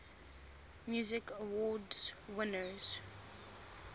music awards winners